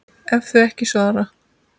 ef þau ekki svara